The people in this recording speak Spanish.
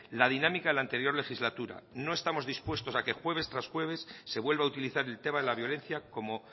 la dinámica en la anterior legislatura no estamos dispuestos a que jueves tras jueves se vuelva a utilizar el tema de la violencia como